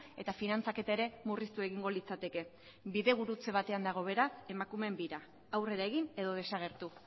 eta finantzaketa ere murriztu egingo litzateke bidegurutze batean dago beraz emakumeen bira aurrera egin edo desagertu